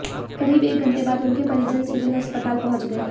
करीब एक घंटे बाद उनके परिजन सिविल अस्पताल पहुंच गए